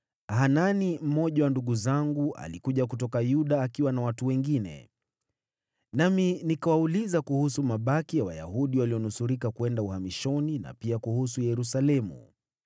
Hanani, mmoja wa ndugu zangu, alikuja kutoka Yuda akiwa na watu wengine, nami nikawauliza kuhusu mabaki ya Wayahudi wale walionusurika kwenda uhamishoni na pia kuhusu Yerusalemu.